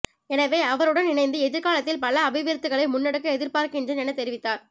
எனவே அவருடன் இணைந்து எதிர்காலத்தில் பல அபிவிருத்திகளை முன்னெடுக்க எதிர்பார்க்கின்றேன் என தெரிவித்தார்